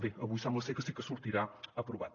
bé avui sembla ser que sí que sortirà aprovat